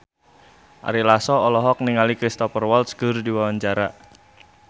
Ari Lasso olohok ningali Cristhoper Waltz keur diwawancara